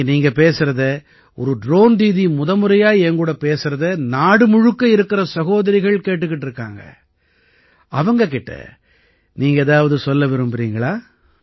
இன்னைக்கு நீங்க பேசறதை ஒரு ட்ரோன் தீதி முதமுறையா என் கூட பேசறதை நாடு முழுக்க இருக்கற சகோதரிகள் கேட்டுக்கிட்டு இருக்காங்க அவங்க கிட்ட நீங்க ஏதாவது சொல்ல விரும்பறீங்களா